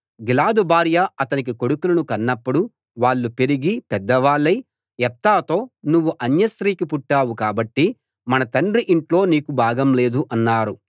గిలాదు భార్య అతనికి కొడుకులను కన్నప్పుడు వాళ్ళు పెరిగి పెద్దవాళ్ళై యెఫ్తాతో నువ్వు అన్యస్త్రీకి పుట్టావు కాబట్టి మన తండ్రి ఇంట్లో నీకు భాగం లేదు అన్నారు